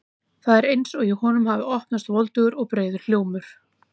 Það er eins og í honum hafi opnast voldugur og breiður hljómur.